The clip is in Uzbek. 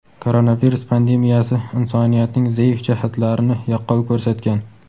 koronavirus pandemiyasi insoniyatning zaif jihatlarini yaqqol ko‘rsatgan.